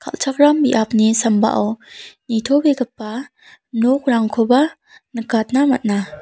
kal·chakram biapni sambao nitobegipa nokrangkoba nikatna man·a.